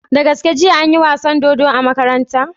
Da gaske jiya anyi wasan dodo a makaranta?